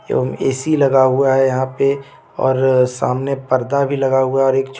AC लगा हुआ है यहां पे और सामने पर्दा भी लगा हुआ और एक छो--